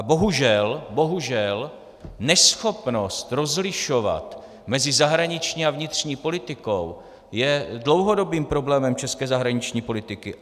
A bohužel, bohužel, neschopnost rozlišovat mezi zahraniční a vnitřní politikou je dlouhodobým problémem české zahraniční politiky.